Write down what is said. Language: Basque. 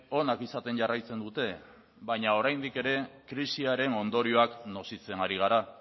onak izaten jarraitzen dute baina oraindik ere krisiaren ondorioak nozitzen ari gara